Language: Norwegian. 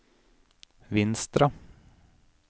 Vinstra